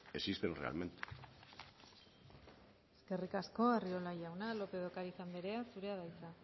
existen realmente eskerrik asko arriola jauna lópez de ocariz andrea zurea da hitza